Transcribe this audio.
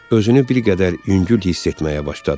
Özünü bir qədər yüngül hiss etməyə başladı.